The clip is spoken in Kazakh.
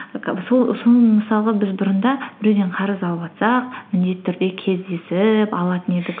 соның мысалға біз бұрында біреуден қарыз алыватсақ міндетті түрде кездесіп алатын едік